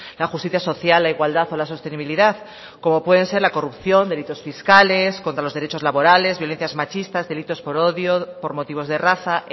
la justicia social la igualdad o la sostenibilidad como pueden ser la corrupción delitos fiscales contra los derechos laborales violencias machistas delitos por odio por motivos de raza